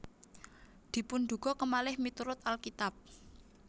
Dipunduga kemalih miturut Alkitab